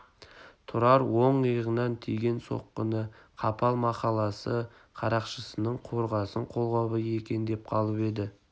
тұрар оң иығынан тиген соққыны қапал махалласы қарақшысының қорғасын қолғабы екен деп қалып еді